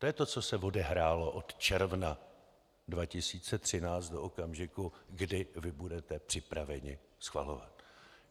To je to, co se odehrálo od června 2013 do okamžiku, kdy vy budete připraveni schvalovat.